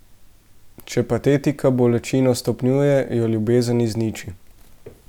Če patetika bolečino stopnjuje, jo ljubezen izniči.